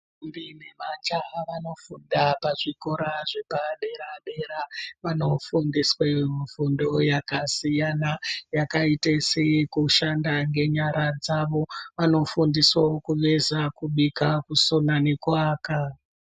Ndombi nemajaha vanofunda pazvikora zvepadera dera. Vanofundiswe mifundo yakasiyana yakaite seyekushanda ngenyara dzavo. Vanofundiswawo kuveza, kubika, kusona nekuaka.